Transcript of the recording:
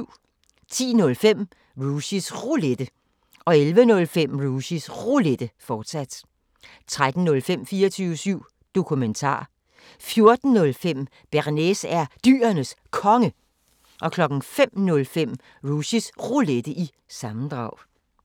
10:05: Rushys Roulette 11:05: Rushys Roulette, fortsat 13:05: 24syv Dokumentar 14:05: Bearnaise er Dyrenes Konge 05:05: Rushys Roulette – sammendrag